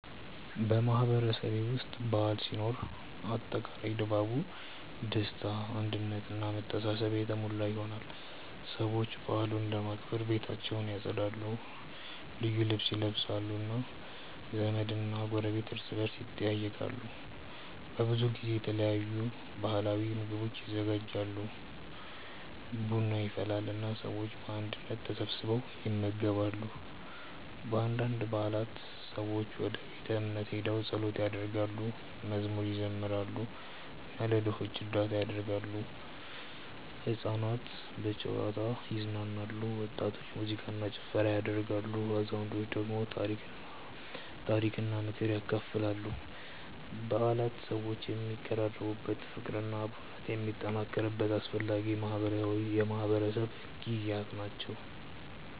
በማህበረሰቤ ውስጥ በዓል ሲኖር አጠቃላይ ድባቡ ደስታ አንድነት እና መተሳሰብ የተሞላ ይሆናል። ሰዎች በዓሉን ለማክበር ቤታቸውን ያጸዳሉ፣ ልዩ ልብስ ይለብሳሉ እና ዘመድና ጎረቤት እርስ በርስ ይጠያየቃሉ። በብዙ ጊዜ የተለያዩ ባህላዊ ምግቦች ይዘጋጃሉ፣ ቡና ይፈላል እና ሰዎች በአንድነት ተሰብስበው ይመገባሉ። በአንዳንድ በዓላት ሰዎች ወደ ቤተ እምነት ሄደው ጸሎት ያደርጋሉ፣ መዝሙር ይዘምራሉ እና ለድሆች እርዳታ ያደርጋሉ። ሕፃናት በጨዋታ ይዝናናሉ፣ ወጣቶች ሙዚቃ እና ጭፈራ ያደርጋሉ፣ አዛውንቶች ደግሞ ታሪክና ምክር ያካፍላሉ። በዓላት ሰዎችን የሚያቀራርቡ፣ ፍቅርና አብሮነትን የሚያጠናክሩ አስፈላጊ የማህበረሰብ ጊዜያት ናቸው።